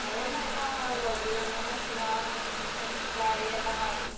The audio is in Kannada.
ಕೊತ್ತೊಂಬರಿ, ಏನ್ ಏನ್ ಮಾಡುವ ಹಾಗೆ ಮೆಣಸಿನ, ಮೆಣ್‌ಸ್ಸ್ಕಾಯ್ ಎಲ್ಲ ಹಾಕಿ.